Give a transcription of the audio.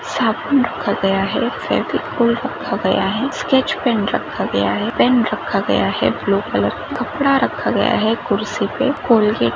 साबुन रखा गया है फेविकोल रखा गया है स्केच पेन रखा गया है पेन रखा गया है ब्लू कलर का कपडा रखा गया है कुर्सी पे कॉलगेट --